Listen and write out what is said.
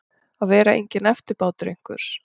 Að vera enginn eftirbátur einhvers